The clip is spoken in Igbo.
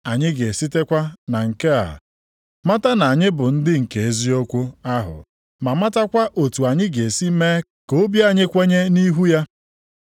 Anyị ga-esitekwa na nke a mata na anyị bụ ndị nke eziokwu ahụ ma matakwa otu anyị ga-esi mee ka obi anyị kwenye nʼihu ya.